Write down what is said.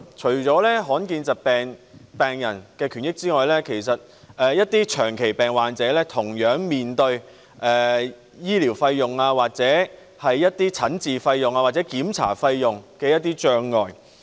除了罕見疾病病人的權益外，其實一些長期病患者同樣面對與醫療費用、診治費用或檢查費用相關的困難。